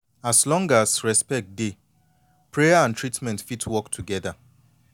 as long as respect dey prayer and treatment fit work together